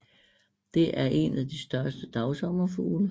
Det er en af de større dagsommerfugle